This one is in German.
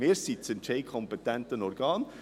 Wir sind das entscheidungskompetente Organ.